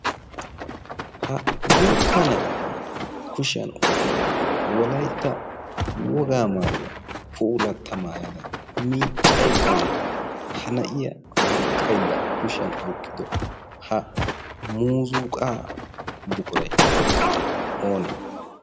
ha guutta na'iya kushiyan oyqqada wolaytta wogaa maayuwaa puulatta maayada miiccayddanne ha na'iya baqqaydda kushiyan oyqqido ha muzuqaa buquray oonee